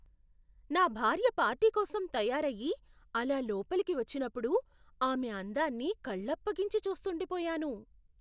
నా భార్య పార్టీ కోసం తయారయ్యి, అలా లోపలికి వచ్చినప్పుడు, ఆమె అందాన్ని కళ్ళప్పగించి చూస్తుండిపోయాను.